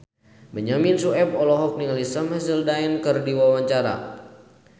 Benyamin Sueb olohok ningali Sam Hazeldine keur diwawancara